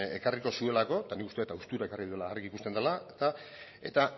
ekarriko zuelako eta nik uste dut haustura ekarri duela argi ikusten dela eta